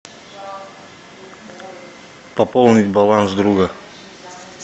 пополнить баланс друга